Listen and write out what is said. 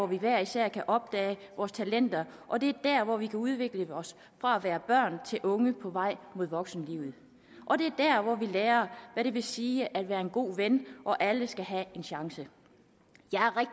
vi hver især kan opdage vores talenter og det er der vi kan udvikle os fra at være børn til unge på vej mod voksenlivet og det er der hvor vi lærer hvad det vil sige at være en god ven og at alle skal have en chance